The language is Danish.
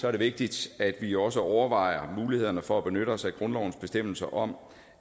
er det vigtigt at vi også overvejer mulighederne for at benytte os af grundlovens bestemmelser om